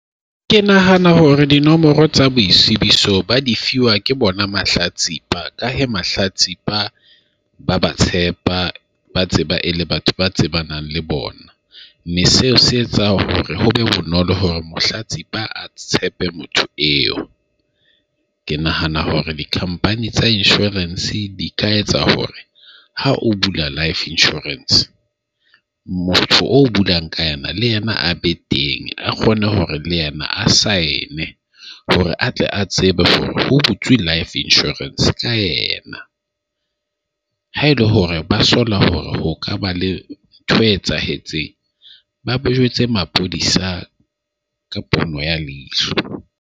Ke nahana hore dinomoro tsa boitsebiso ba di fiwa ke bona mahlatsipa. Ka he mahlatsipa ba ba tshepa, ba tseba e le batho ba tsebanang le bona. Mme seo se etsa hore ho be bonolo hore mohlatsipa a tshepe motho eo. Ke nahana hore di-company tsa insurance di ka etsa hore ha o bula life insurance motho o bulang ka ena, le yena a be teng, a kgone hore le yena a saene hore a tle a tsebe ho butswe life insurance ka yena. Ha ele hore ba sola hore ho ka ba le ntho e etsahetseng, ba ba jwetse maphodisa ka pono ya leihlo.